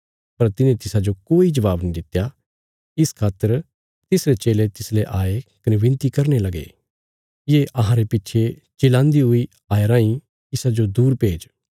पर तिने तिसाजो कोई जबाब नीं दित्या इस खातर तिसरे चेले तिसले आये कने विनती करने लगे ये अहांरे पिच्छे चिल्लान्दी हुई आई राईं इसाजो दूर भेज